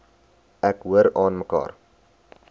ek hoor aanmekaar